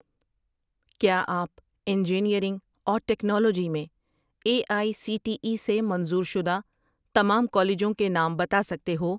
کیا آپ انجینئرنگ اور ٹیکنالوجی میں A I C T E سے منظور شدہ تمام کالجوں کے نام بتا سکتے ہو